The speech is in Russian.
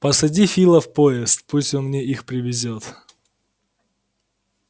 посади фила в поезд пусть он мне их привезёт